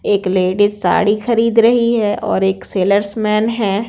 एक लेडीज साड़ी खरीद रही है और एक सेलर्स मैन है।